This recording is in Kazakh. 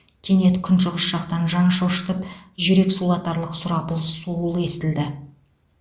кенет күншығыс жақтан жан шошытып жүрек сулатарлық сұрапыл суыл естілді